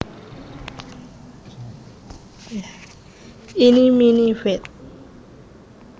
Eenie Meenie feat